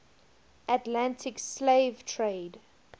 atlantic slave trade